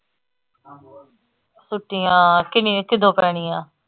ਛੁੱਟੀਆਂ ਕਿੰਨੀਆਂ ਕਦੋ ਪੈਣੀਆਂ